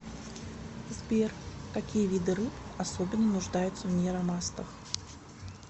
сбер какие виды рыб особенно нуждаются в нейромастах